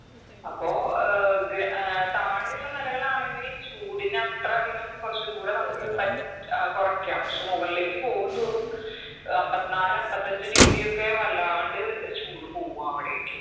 അപ്പൊ ഏർ ഗ്ര ഏർ താഴെയുള്ള നെലകളാണെങ്കിൽ ചൂടിന് അത്രധികം കുറച്ചും കൂട നമുക്ക് പറ്റ് കൊറയ്ക്കാം പക്ഷെ മുകൾലേക്ക് പോകുംതോറും അമ്പത്നാല് അമ്പത്തഞ്ചു degree ഒക്കെ വല്ലാണ്ട് ഏർ ചൂട് പോവു അവിടേക്ക്